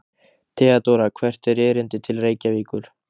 THEODÓRA: Hvert er erindið til Reykjavíkur?